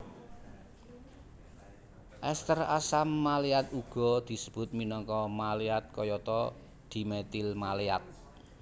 Ester asam maleat uga disebut minangka maleat kayata dimetil maleat